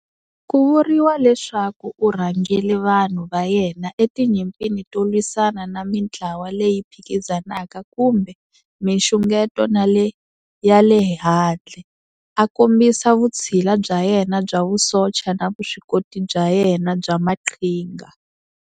Ku vuriwa leswaku u rhangele vanhu va yena etinyimpini to lwisana na mintlawa leyi phikizanaka kumbe minxungeto ya le handle, a kombisa vutshila bya yena bya vusocha na vuswikoti bya yena bya maqhinga.